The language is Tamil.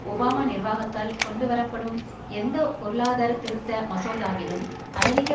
ஒபாமா நிர்வாகத்தால் கொண்டு வரப்படும் எந்த பொருளாதார திருத்த மசோதாவிலும் அமெரிக்க